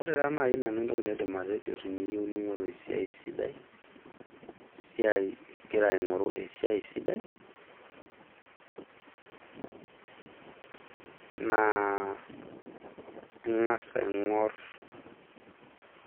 Ore taa nai nanu entoki naidim atejo teniyieu ningoru esiai sidai ,esiai , ingira aingoru esiai sidai naa ingas aingor